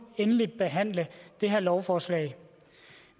endelig behandle det her lovforslag